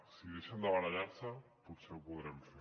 si deixen de barallar se potser ho podrem fer